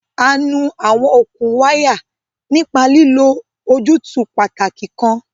A nu àwọn okùn wáyà nípa lílo ojútùú pàtàkì kan.